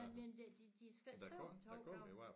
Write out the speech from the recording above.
Jamen det de de skrev om 2 gange